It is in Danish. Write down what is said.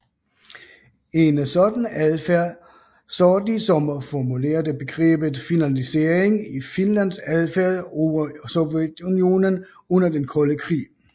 En sådan adfærd så de som formulerede begrebet finlandisering i Finlands adfærd over Sovjetunionen under Den kolde krig